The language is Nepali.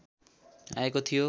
आएको थियो